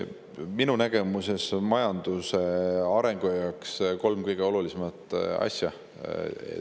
Minu nägemuses on kolm kõige olulisemat asja majanduse arengu jaoks järgmised.